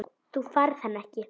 Þú færð hann ekki.